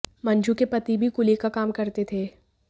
मंजू के पति भी कुली का काम करते थे